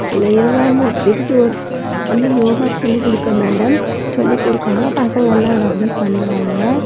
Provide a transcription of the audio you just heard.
அந்த யோகா மாட் விரிக்க ஒரு அந்த யோகா சொல்லி குடுக்க மேடம் சொல்லி குடுகாங்க பசங்க எல்லாம் அத அப்டே பண்றாங்க.